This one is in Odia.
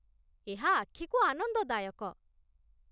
ଏହା ଆଖିକୁ ଆନନ୍ଦଦାୟକ